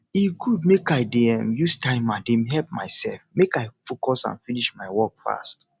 e good make i dey um use timer dey help myself make i focus and finish my work fast